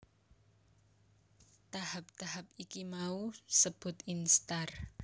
Tahap tahap iki mau sebut instar